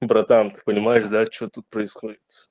братан ты понимаешь да что тут происходит